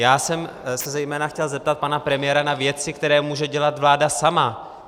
Já jsem se zejména chtěl zeptat pana premiéra na věci, které může dělat vláda sama.